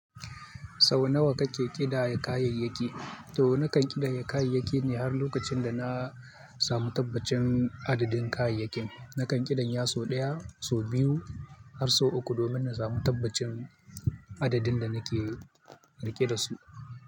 Sau nawa kake kidaya kayayyaki? To nakan kidaya kayayyaki ne har lokacin dana samu tabbacin adadin kayayyakin. Nakan kidaya sau ɗaya, sau biyu har sau uku domin nasamu tabbacin adadin danake riƙe dasu.